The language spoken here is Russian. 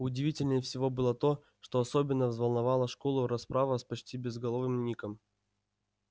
удивительнее всего было то что особенно взволновала школу расправа с почти безголовым ником